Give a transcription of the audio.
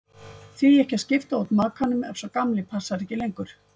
Því ekki að skipta út makanum ef sá gamli passar ekki lengur?